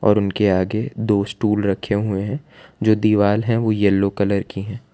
उनके आगे दो स्टूल रखे हुए हैं जो दीवाल है वो येलो कलर की है।